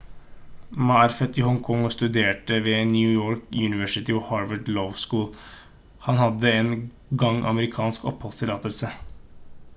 ma er født i hong kong og studerte ved new york university og harvard law school han hadde en gang amerikansk oppholdstillatelse